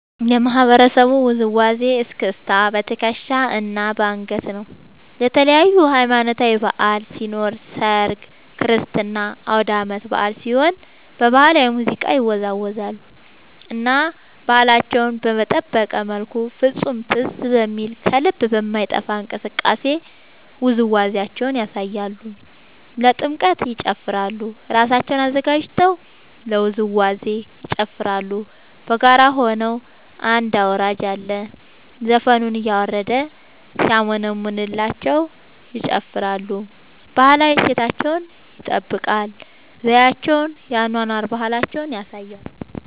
የማህበረሰቡ ውዝዋዜ እስክስታ በትከሻ እና በአንገት ነው። ለተለያዪ ሀማኖታዊ በዐል ሲኖር ሰርግ ክርስትና አውዳመት በአል ሲሆን በባህላዊ ሙዚቃ ይወዛወዛሉ እና ባህላቸውን በጠበቀ መልኩ ፍፁም ትዝ በሚል ከልብ በማይጠፍ እንቅስቃሴ ውዝዋዜያቸውን ያሳያሉ። ለጥምቀት ይጨፉራሉ እራሳቸውን አዘጋጅተው ለውዝዋዜ ይጨፋራሉ በጋራ ሆነው አንድ አውራጅ አለ ዘፈኑን እያረደ ሲያሞነምንላቸው ይጨፍራሉ። ባህላዊ እሴታቸውን ይጠብቃል ዘዪቸውን የአኗኗር ባህላቸውን ያሳያሉ።